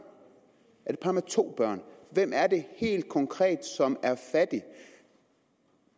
er det par med to børn hvem er det helt konkret som er fattig